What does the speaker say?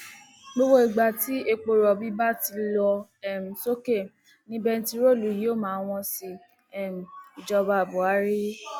gbogbo ìgbà tí epo rọbì bá ti lọ um sókè ni bèǹtíróòlù yóò máa wọn sí i um ìjọba buhari